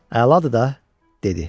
Əladır da, dedi.